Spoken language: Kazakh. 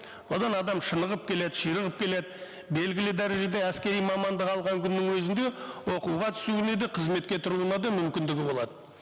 одан адам шынығып келеді келеді белгілі дәрежеде әскери мамандық алған күннің өзінде оқуға түсуіне де қызметке тұруына да мүмкіндігі болады